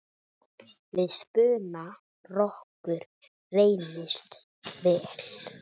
Við spuna rokkur reynist vel.